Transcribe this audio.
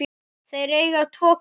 Þeir eiga tvo kosti.